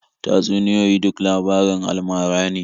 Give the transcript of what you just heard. Tatsuniyoyi duk labarin alamara ne.